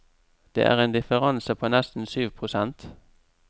Det er en differanse på nesten syv prosent.